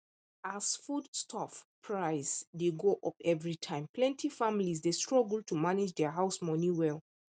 as foodstuff price dey go up every time plenty families dey struggle to manage their house money well